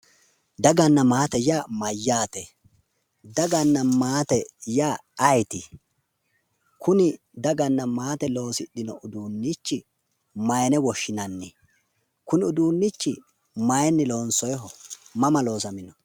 Daganna maate yaa mayyaate? daganna maate yaa ayeeti? kuni daganna maate loosidhino uduunnichi maayiine woshinanni? kuni uduunnichi maayiinni loonsooyiiho? mama loosamino?